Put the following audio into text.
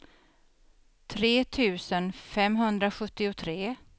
tre tusen femhundrasjuttiotre